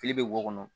Fili bɛ wo kɔnɔ